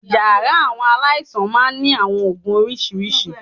Yàrá àwọn aláìsàn máa ń ní àwọn oògùn oríṣiríṣi